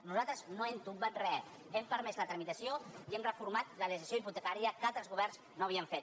nosaltres no hem tombat res hem permès la tramitació i hem reformat la legislació hipotecària que altres governs no ho havien fet